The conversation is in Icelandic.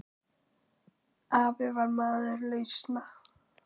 Afi var maður lausna.